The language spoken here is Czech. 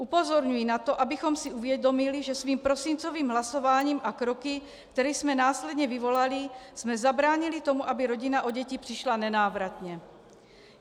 Upozorňuji na to, abychom si uvědomili, že svým prosincovým hlasováním a kroky, které jsme následně vyvolali, jsme zabránili tomu, aby rodina o děti přišla nenávratně.